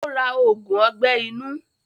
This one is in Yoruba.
Ó ra ògùn ọgbẹ́ inú.